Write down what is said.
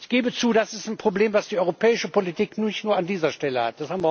Ich gebe zu, das ist ein Problem, das die europäische Politik nicht nur an dieser Stelle hat.